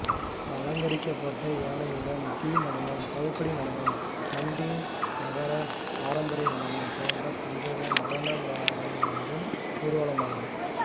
அலங்கரிக்கப்பட்ட யானைகளுடன் தீநடனம் சவுக்கடி நடனம் கண்டி நகர பாரம்பரிய நடனம் போன்ற பல்வேறு நடனமாடிவரும் ஊர்வலமாகும்